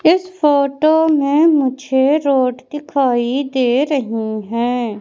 इस फोटो में मुझे रोड दिखाई दे रही हैं।